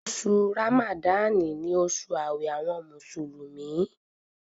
Oṣù Ràmádánì ni oṣù ààwẹ̀ àwọn Mùsùlùmí